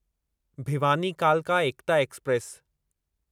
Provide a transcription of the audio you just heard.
भिवानी कालका एकता एक्सप्रेस